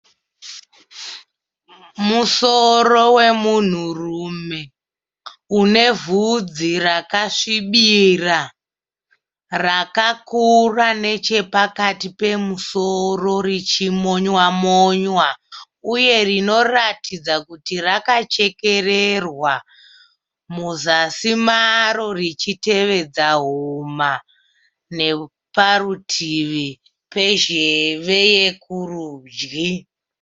Musoro wemunhurume unevhudzi rakasvibira rakakura nechepakati pemusoro richimonywa-monywa. uye rinoratidza kuti rakachekererwa muzasi maro richitevedza huma neparutivi pezheve yekurudyi.